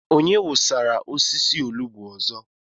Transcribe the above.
Onye wụsasịrị osisi olugbu ọzọ?